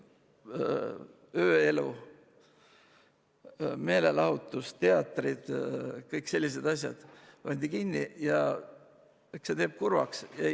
Ööelu, meelelahutus, teatrid – kõik sellised asjad pandi kinni ja eks see teeb kurvaks.